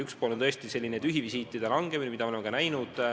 Üks pluss on tõesti tühivisiitide vähenemine, mida me oleme näinud.